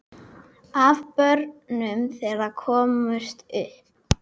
Af börnum þeirra komust upp